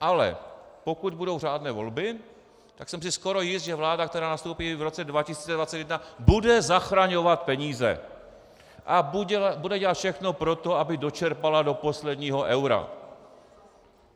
Ale pokud budou řádné volby, tak jsem si skoro jist, že vláda, která nastoupí v roce 2021, bude zachraňovat peníze a bude dělat všechno pro to, aby dočerpala do posledního eura.